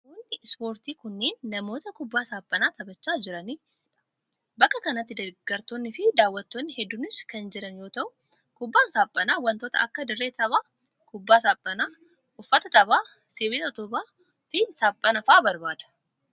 Namoonn ispoortii kunneen, namoota kubbaa saaphanaa taphachaa jiranii dha. Bakka kanatti deeggartoonni fi daawwattoonni hedduunis kan jiran yoo ta'u, kubbaan saaphanaa wantoota akka dirree taphaa, kubbaa saaphanaa, uffata taphaa ,sibiila utubaa fi saaphana faa barbaada.